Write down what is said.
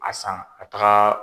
A san a taga